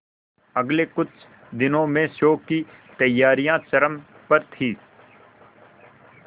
अगले कुछ दिनों में शो की तैयारियां चरम पर थी